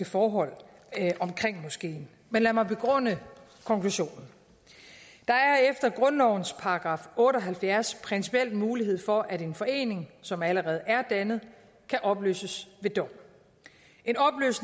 forhold omkring moskeen men lad mig begrunde konklusionen der er efter grundlovens § otte og halvfjerds principiel mulighed for at en forening som allerede er dannet kan opløses ved dom